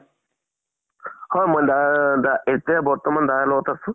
হয় মই দাৰ দা এতিয়া বৰ্তমান দাদাৰ লগত আছো।